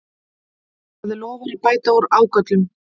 Það lofar að bæta úr ágöllum